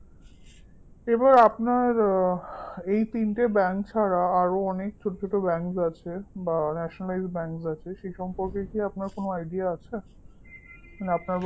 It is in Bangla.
এবার আপনার এই তিনটি bank ছাড়া আরো অনেক ছোট ছোট bank আছে বা nationalized bank আছে সেই সম্পর্কে কি আপনার কোন idea আছে না আপনার